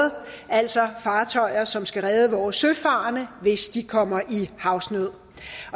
altså fartøjer som skal redde vores søfarende hvis de kommer i havsnød